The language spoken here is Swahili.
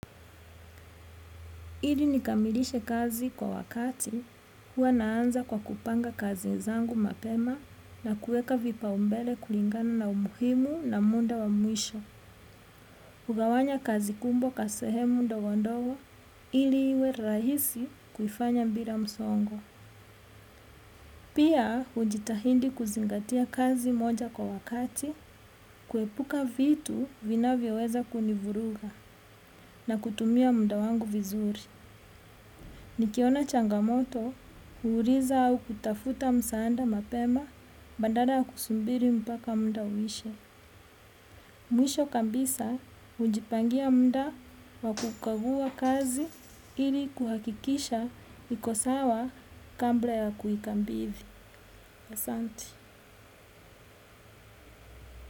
Ili nikamilishe kazi kwa wakati hua naanza kwa kupanga kazi zangu mapema na kuweka vipa umbele kulingana na umuhimu na muda wa mwisho. Kugawanya kazi kubwa kwa sehemu ndogondogo ili iwe rahisi kufanya bila msongo. Pia hujitahidi kuzingatia kazi moja kwa wakati kuepuka vitu vina vyo weza kunivuruga na kutumia muda wangu vizuri. Nikiona changamoto, huuliza au kutafuta msaada mapema, badala kusubiri mpaka muda uishe. Mwisho kabisa, hujipangia muda wakukagua kazi ili kuhakikisha iko sawa kabla ya kuhika bidhi. Asante.